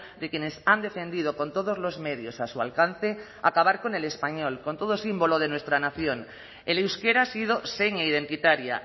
de quienes han defendido con todos los medios a su alcance acabar con el español con todo símbolo de nuestra nación el euskera ha sido seña identitaria